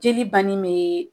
Jeli banni me